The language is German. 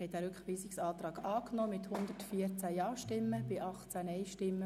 Sie haben diesen Rückweisungsantrag angenommen.